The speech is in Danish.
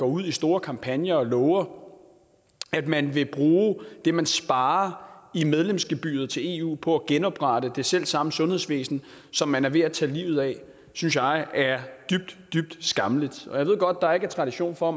ud i store kampagner og har lovet at man vil bruge det man sparer i medlemsgebyret til eu på at genoprette det selv samme sundhedsvæsen som man er ved at tage livet af synes jeg er dybt dybt skammeligt jeg ved godt at der ikke er tradition for